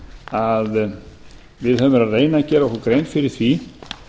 að við höfum verið að reyna að gera okkur grein fyrir því